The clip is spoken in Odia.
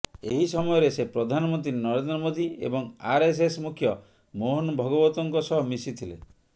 ଏହି ସମୟରେ ସେ ପ୍ରଧାନମନ୍ତ୍ରୀ ନରେନ୍ଦ୍ର ମୋଦି ଏବଂ ଆରଏସଏସ ମୁଖ୍ୟ ମୋହନ ଭଗବତଙ୍କ ସହ ମିଶିଥିଲେ